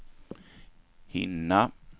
hinna